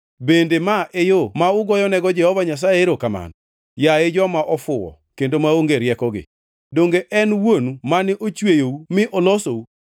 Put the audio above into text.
Bende ma e yo ma ugoyonego Jehova Nyasaye erokamano, yaye joma ofuwo kendo maonge riekogi? Donge en wuonu mane ochweyou mi olosou?